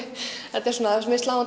þetta er svona við sláum